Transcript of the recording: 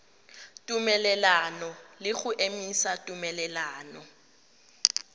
tumelelano le go emisa tumelelano